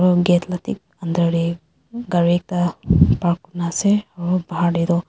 gari ekta park kurina ase aru buhar tey toh--